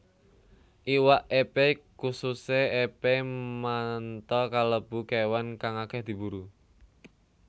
Iwak epé kususé epé manta kalebu kéwan kang akèh diburu